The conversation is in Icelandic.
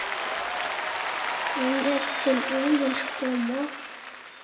þeim er til Óðins koma